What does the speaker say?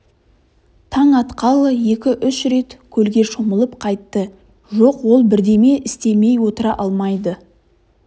таң атқалы екі-үш рет көлге шомылып қайтты жоқ ол бірдеме істемей отыра алмайды